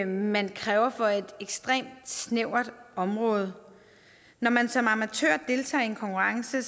man kræver på et ekstremt snævert område når man som amatør deltager i en konkurrence